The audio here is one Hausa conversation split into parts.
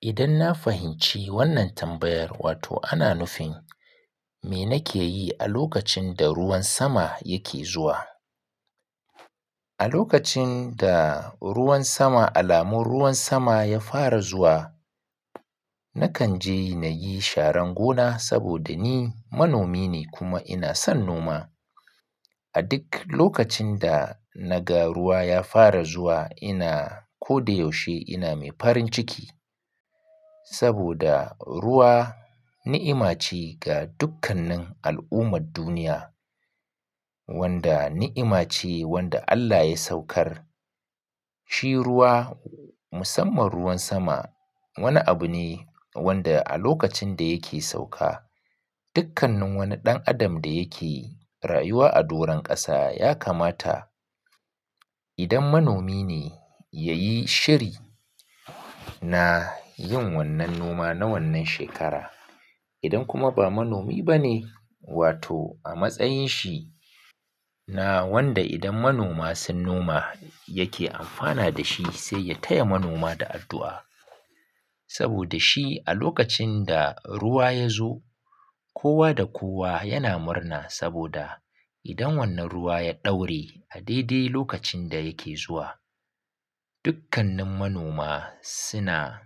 Idan na fahimci wannan tambayar, wato ana nufin me nake yi a lokacin da ruwan sama yake zuwa. A lokacin da ruwan sama, alamun ruwan sama ya fara zuwa, nakan ji na yi sharan gona saboda ni manomi ne kuma ina son noma. A duk lokacin da na ga ruwa ya fara zuwa ina ko da yaushe ina mai farin ciki saboda ruwa ni'ima ce ga dukkannin al'ummar duniya, wanda ni'ima ce wanda Allah ya saukar. Shi ruwa, musamman ruwan sama wani abu ne wanda a lokacin da yake sauka dukkannin wani ɗan adam da yake rayuwa a doron ƙasa ya kamata idan manomi ne ya yi shiri na yin wannan noma na wannan shekara. Idan kuma ba manomi ba ne wato a matsayin shi na wanda idan manoma sun noma yake amfana da shi sai ya taya manoma da addu'a. Saboda shi a lokacin da ruwa ya zo kowa da kowa yana murna saboda idan wannan ruwa ya ɗaure a daidai lokacin da yake zuwa dukkannin manoma suna,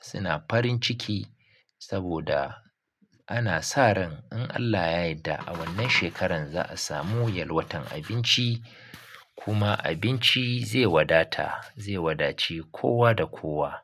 suna farin ciki saboda ana sa ran in Allah yadda a wannan shekarar za a samu yalwatan abinci kuma abinci zai wadata, zai wadaci kowa da kowa.